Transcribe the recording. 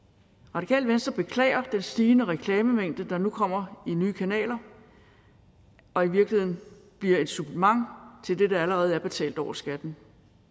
radikale venstre beklager den stigende reklamemængde der nu kommer nye kanaler og i virkeligheden bliver et supplement til det der allerede er betalt over skatten